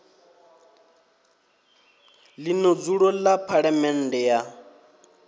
ḽino dzulo ḽa phaḽamennde ya